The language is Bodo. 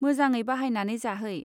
मोजाङै बाहायनानै जाहै.